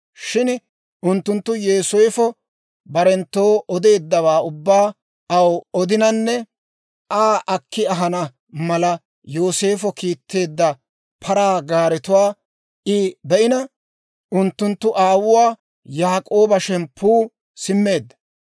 Shin unttunttu Yooseefo barenttoo odeeddawaa ubbaa aw odinanne Aa akki ahana mala Yooseefo kiitteedda paraa gaaretuwaa I be'ina, unttunttu aawuwaa Yaak'ooba shemppu simmeedda.